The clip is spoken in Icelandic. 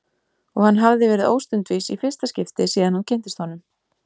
Og hann hafði verið óstundvís í fyrsta skipti síðan hann kynntist honum.